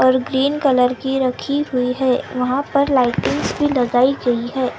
और green colour की रखी हुई है वहां पर लाइटिस भी लगायी गयी है।